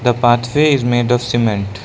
the pathway is made of cement.